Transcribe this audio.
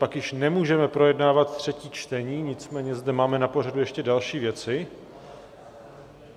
Pak již nemůžeme projednávat třetí čtení, nicméně zde máme na pořadu ještě další věci.